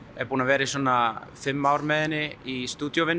er búin að vera í svona fimm ár með henni í